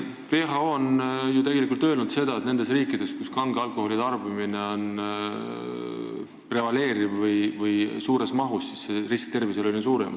WHO on ju öelnud, et nendes riikides, kus kange alkoholi tarbimine prevaleerib või kus see toimub suures mahus, on risk tervisele suurem.